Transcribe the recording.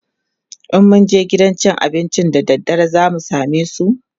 in mun je gidan cin abincin da daddare zamu samesu?